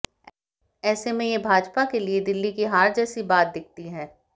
ऐसे में यह भाजपा के लिए दिल्ली की हार जैसी बात दिखती है